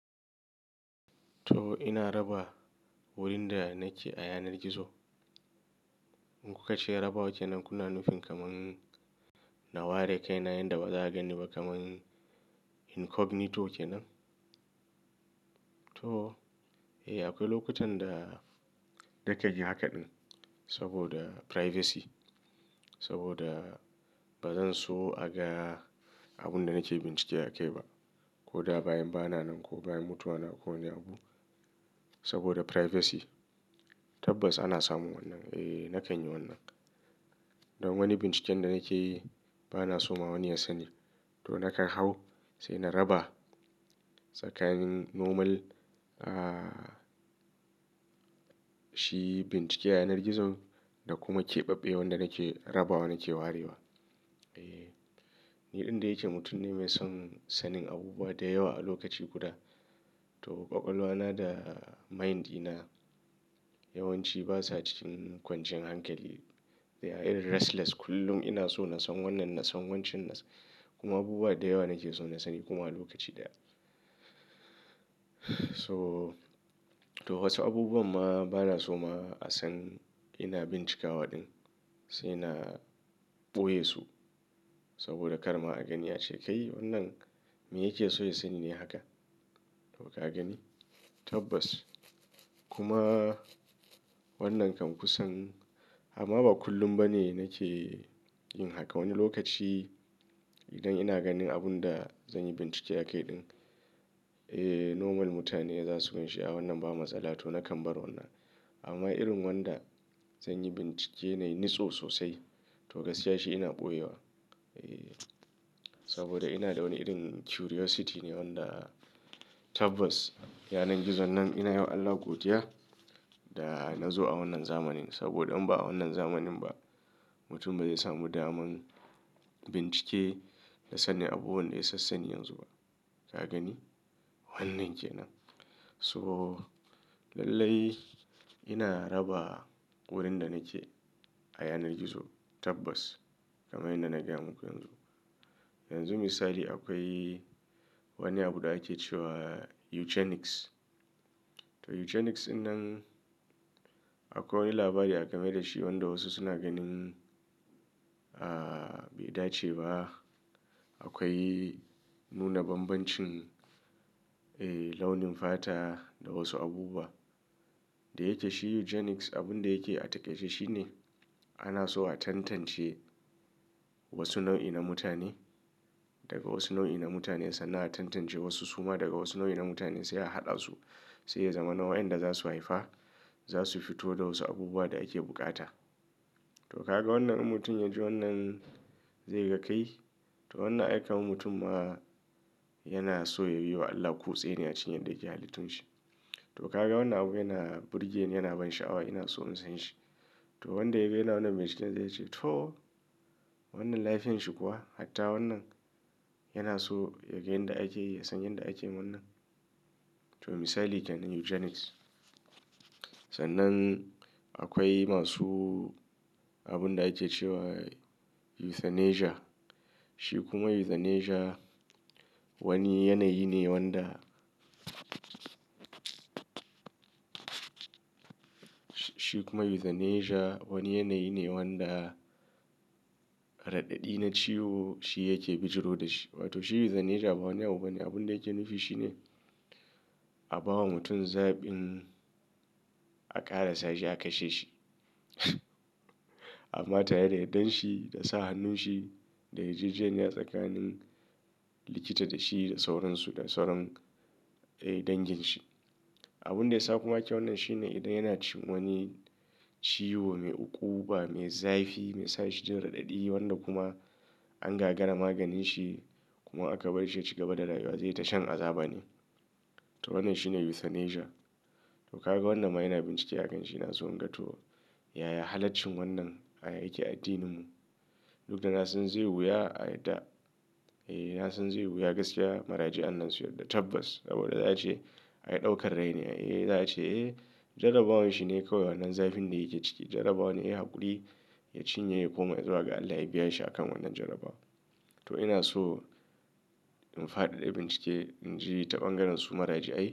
To ina raba wurin da nake a yanar gizo. In kuka ce raba wakenan kuna nufin kamar na ware kai na yanda ba za gani ba kamar incognito kenan? To, eh akwai lokutan da nakan yi haka din saboda privacy. Saboda bazan so aga abun da nake bincike a kai ba. Ko da bayan bana nan ko bayan mutuwa na ko wane abu. Saboda privacy. Tabbas ana samun wannan. Eh, na kan yi wannan. Don wani binciken da nake yi bana so ma wani ya sani. To nakan hau sai na raba tsakanin normal, ah, shi bincike a yanar gizo da kuma keɓaɓɓewar da nake rabawa nake warewa. Eh, ni ɗan da yake mutum ne mai son sanin abubuwa da yawa a lokaci guda. To ƙwaƙwalwa na da mind ina yawanci basa cikin kwanciyan hankali. They are irn restless kullum ina so na san wannan, na san wancan kuma abubuwa da yawa nake so na sani kuma a lokaci daya. To to wasu abubuwan ma bana so ma a san ina bincika waɗin. Sai na ɓoye su saboda kar ma a gani ace, "Kai wannan me yake so ya sani ne haka?" To ka gani? Tabbas. Kuma wannan kan kusan amma ba kullum ba ne nake yin haka. Wani lokaci idan ina ganin abun da zan yi bincike a kai din, eh normal mutane za su ganshi a wannan ba matsala to na kamɓara wannan. Amma irin wanda zan yi bincike nai ni tso sosai to gaskiya shi ina ɓoye wa. Eh, saboda ina da wani irin curiosity ne wanda tabbas yanar gizon nan ina yawan Allah godiya da na zo a wannan zamanin. Saboda in ba a wannan zamanin ba mutum bazai samu daman bincike da sanin abubuwan da ya sassani yanzu ba. Ka gani? Wannan kenan. So lallai ina raba wurin da nake a yanar gizo tabbas kamar yadda naga muku yanzu. Yanzu misali akwai wani abu da ake cewa eugenics. To eugenics dinnan akwai wani labari game da shi wanda wasu suna ganin, ah, bai dace ba. Akwai nuna banbancin, eh launin fata da wasu abubuwa. Da yake shi eugenics abun da yake a takaice shine ana so a tantance wasu nau'i na mutane daga wasu nau'i na mutane. Sannan a tantance wasu suma daga wasu nau'i na mutane sai a haɗa su sai ya zama na wayanda za su haifa. Za su fito da wasu abubuwa da ake bukata. To ka ga wannan mutum ya ji wannan zai ga kai? To wannan aika wa mutum ma yana so ya yiwa Allah ƙutse ne a cikin yadda yake halittun shi. To ka ga wannan abu yana burge yana ban sha'awa yana so in san shi. To wanda ya gani wannan bincike zai ce to wannan lafiyan shi kuwa? Hatta wannan yana so ya gani yadda ake, ya san yadda ake wannan. To misali kenan eugenics. Sannan akwai masu abun da ake cewa euthanasia. Shi kuma euthanasia wani yanayi ne wanda shi kuma euthanasia wani yanayi ne wanda raɗaɗi na ciwo shi yake bijiro da shi. To shi euthanasia ba wani abu bane. Abun da yake nufi shine a ba wa mutum zaɓin a ƙara sa shi a kashe shi. Amma tare da yardan shi da sa hannun shi da yarjejeniya tsakanin likita da shi da sauransu da sauran, eh dangin shi. Abun da ya sa kuma ake wannan shine idan yana cikin wani ciwo mai ukuɓa, mai zafi, mai sa shi jin raɗaɗi wanda kuma an gagara maganin shi kuma aka bar shi ya cigaba da rayuwa zai ta shan azaba ne. To wannan shi ne euthanasia. To ka ga wannan ma ina bincike a kan shi ina so in ga to yaya halaccin wannan yake a addinin mu. Duk da na san zai wuya a da, eh na san zai wuya gaskiya maraji an nan su yarda tabbas. Saboda za a ce aka ɗaukar rai ne. Eh za a ce, eh jarabawan shi ne kawai wannan zafin da yake ciki. Jarabawan ne hakuri ya cinye ya koma zuwa ga Allah ya biya shi akan wannan jarabawa. To ina so in faɗaɗa bincike in ji taɓanganin su maraji a.